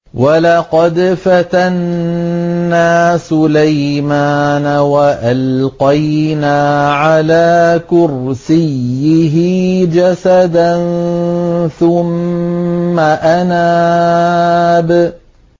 وَلَقَدْ فَتَنَّا سُلَيْمَانَ وَأَلْقَيْنَا عَلَىٰ كُرْسِيِّهِ جَسَدًا ثُمَّ أَنَابَ